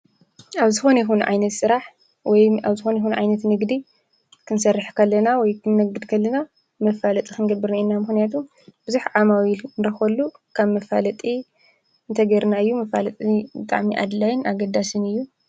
ኣብዝኾን ይኹን ዓይነት ሥራሕ ወይ ኣብዝኾን ይኹን ዓይነት ንግዲ ክንሠርሕ ከለና ወይ ኽንነግድ ከለና መፋለጥ ኽንግብርንኢና ምህንያቱ ብዙኅ ዓማዊ ኢል ንረኾሉ ካብ መፋለጢ እንተጌርናዩ ምፋለጥ እጣዕሚ ኣድላይን ኣገዳስን እዩ።